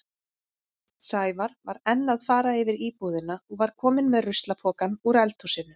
Sævar var enn að fara yfir íbúðina og var kominn með ruslapokann úr eldhúsinu.